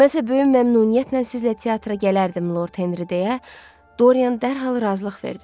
Mənsə böyük məmnuniyyətlə sizlə teatra gələrdim, Lord Henri deyə Doryan dərhal razılıq verdi.